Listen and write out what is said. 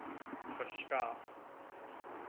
verskaf